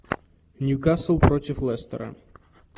ньюкасл против лестера